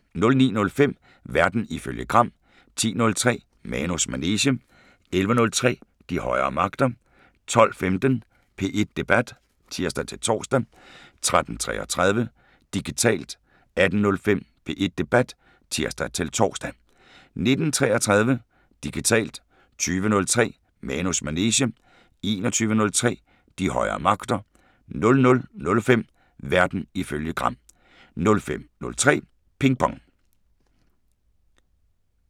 09:05: Verden ifølge Gram 10:03: Manus manege 11:03: De højere magter 12:15: P1 Debat (tir-tor) 13:33: Digitalt 18:05: P1 Debat (tir-tor) 19:33: Digitalt 20:03: Manus manege 21:03: De højere magter 00:05: Verden ifølge Gram